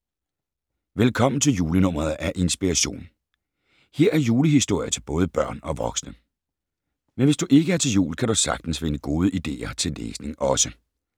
Velkommen til julenummeret af Inspiration. Her er julehistorier til både børn og voksne. Men hvis du ikke er til jul, kan du sagtens finde gode ideer til læsning også.